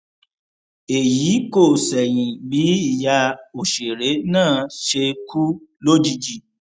èyí kò ṣẹyìn bí ìyá òṣèré náà ṣe kú lójijì